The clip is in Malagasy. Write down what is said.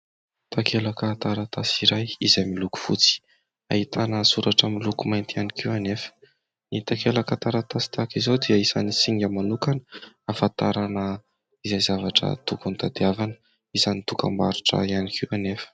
Takelaka taratasy iray izay miloko fotsy, ahitana soratra miloko mainty ihany koa anefa. Ny takelaka taratasy tahaka izao dia isan'ny singa manokana ahafantarana izay zavatra tokony tadiavina ; isan'ny dokam-barotra ihany koa anefa.